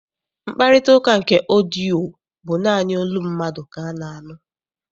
Mkparịtaụka nke ọdịyio bụ naanị olu mmadụ ka a na-anụ.